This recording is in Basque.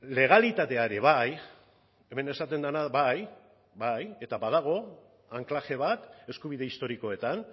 legalitatea ere bai hemen esaten dena bai bai eta badago anklaje bat eskubide historikoetan